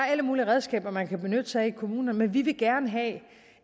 alle mulige redskaber man kan benytte sig af i kommunerne men vi vil gerne have